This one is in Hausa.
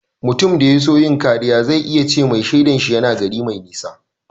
Mutum da ya so yin kariya zai ce mai shaidan shi yana gari mai nisa.